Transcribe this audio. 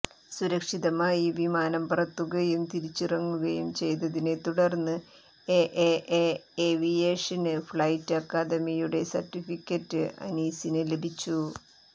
സുരക്ഷിതമായി വിമാനം പറത്തുകയും തിരിച്ചിറക്കുകയും ചെയ്തതിനെ തുടര്ന്ന് A A A aviation flight അക്കാദമിയുടെ സെര്ട്ടിഫിക്കേറ്റ് അനീസിന് ലഭിച്ചു